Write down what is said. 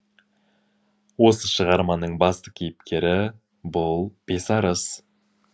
осы шығарманың басты кейіпкері бұл бесарыс